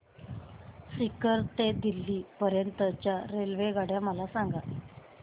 सीकर ते दिल्ली पर्यंत च्या रेल्वेगाड्या मला सांगा